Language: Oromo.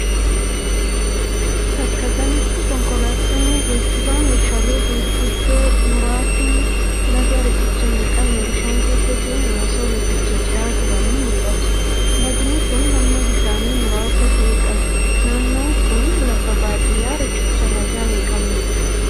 Bakka kanatti konkolaattonni geejiba meeshaalee guguddoo muraasni laga riqicha hin qabne bishaan keessa seenuun osoo lagicha ce'aa jiranii mul'atu. Lagni kun, hamma bishaanii muraasa ta'e qaba. Naannoon kun, lafa baadiyaa riqicha lagaa hin qabnee dha.